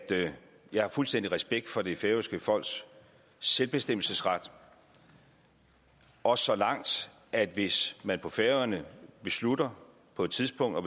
jeg har fuldstændig respekt for det færøske folks selvbestemmelsesret også så langt at hvis man på færøerne beslutter på et tidspunkt at